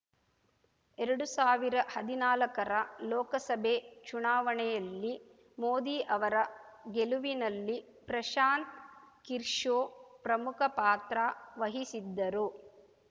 ಎರಡು ಸಾವಿರ ಹದಿನಾಲಕ್ಕರ ಲೋಕಸಭೆ ಚುನಾವಣೆಯಲ್ಲಿ ಮೋದಿ ಅವರ ಗೆಲುವಿನಲ್ಲಿ ಪ್ರಶಾಂತ್‌ ಕಿರ್ಶೋ ಪ್ರಮುಖ ಪಾತ್ರ ವಹಿಸಿದ್ದರು